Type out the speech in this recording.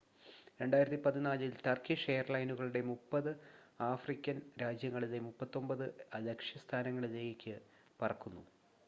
2014 ൽ ടർക്കിഷ് എയർലൈനുകൾ 30 ആഫ്രിക്കൻ രാജ്യങ്ങളിലെ 39 ലക്ഷ്യസ്ഥാനങ്ങളിൽേക്ക് പറക്കുന്നു